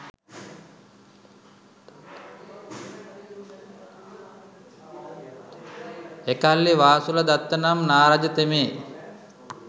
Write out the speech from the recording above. එකල්හි වාසුල දත්ත නම් නාරජතෙමේ